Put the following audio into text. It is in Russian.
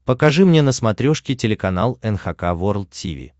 покажи мне на смотрешке телеканал эн эйч кей волд ти ви